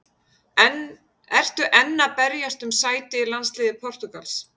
Ertu enn að berjast um sæti í landsliði Portúgals?